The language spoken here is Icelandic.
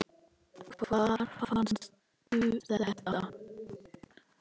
Hvar fannstu þetta?